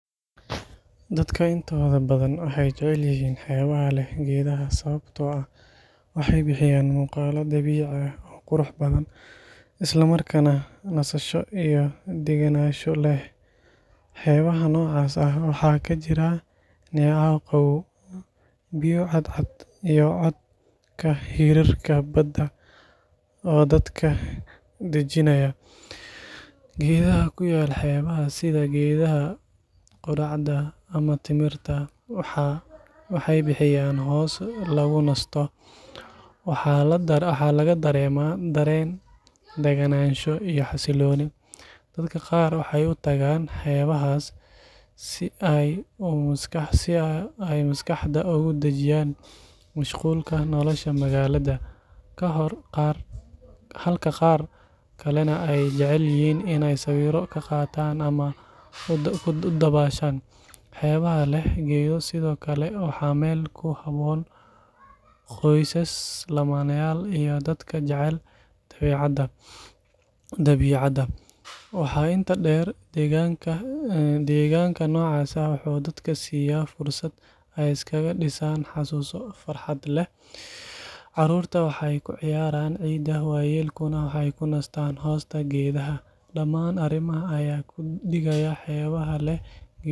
Dadka intooda badan waxay jecel yihiin xeebaha leh geedaha sababtoo ah waxay bixiyaan muuqaal dabiici ah oo qurux badan isla markaana nasasho iyo degenaansho leh. Xeebaha noocaas ah waxaa ka jira neecaw qabow, biyo cadcad, iyo codka hirarka badda oo dadka dejinaya. Geedaha ku yaal xeebaha sida geedaha qudhacda ama timirta waxay bixiyaan hoos lagu nasto, waxaana laga dareemaa dareen daganaansho iyo xasillooni. Dadka qaar waxay u tagaan xeebahaas si ay maskaxda uga dajiyaan mashquulka nolosha magaalada, halka qaar kalena ay jecel yihiin inay sawirro ka qaataan ama u dabaashaan. Xeebaha leh geedo sidoo kale waa meel ku habboon qoysas, lamaanayaal iyo dadka jecel dabeecadda. Waxaa intaa dheer, deegaanka noocaas ah wuxuu dadka siiya fursad ay iskaga dhisaan xusuuso farxad leh. Carruurta waxay ku ciyaaraan ciidda, waayeelkuna waxay u nastaan hoosta geedaha. Dhammaan arrimahan ayaa ka dhigaya xeebaha leh geedo kuwo dadka si gaar ah u soo jiita.